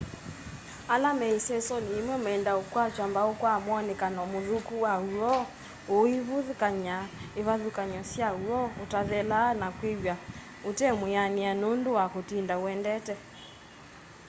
ala me isesoni yimwe meendaa ukwatwa mbau kwa mwonekano muthuku wa woo uivathukany'a ivathukany'o sya woo utathelaa na kwiw'a utemwianie nundu wa kutinda uendete